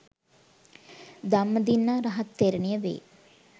ධම්මදින්නා රහත් තෙරණිය වේ.